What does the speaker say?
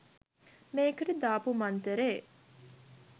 මේකට දාපු මන්තරේ